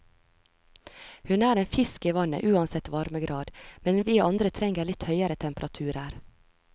Hun er en fisk i vannet uansett varmegrad, men vi andre trenger litt høyere temperaturer.